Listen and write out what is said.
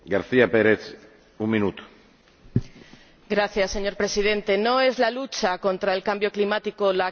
Señor Presidente, no es la lucha contra el cambio climático la que cae sobre las espaldas de los ciudadanos en sus costes.